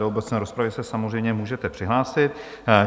Do obecné rozpravy se samozřejmě můžete přihlásit.